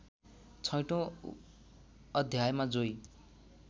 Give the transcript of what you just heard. छैठौँ अध्यायमा जोई